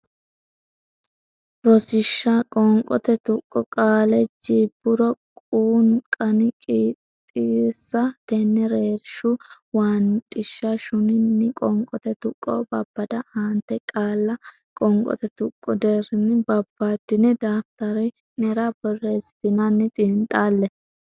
Rosiishsha Qoonqote Tuqqo Qaale jii bur quu qan qix xees ten reer shu wan dhish shun nin Qoonqote Tuqqo Babbada Aante qaalla qoonqote tuqqo deerrinni babbaddine daftari nera borreessitinanni xiinxalle.